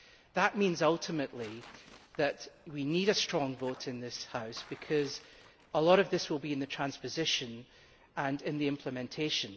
That means ultimately that we need a strong vote in this House, because a lot of this will be in the transposition and in the implementation.